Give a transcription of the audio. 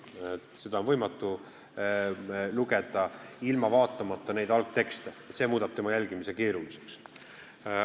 Seda on võimatu lugeda ilma algtekste vaatamata ja see muudab jälgimise keeruliseks.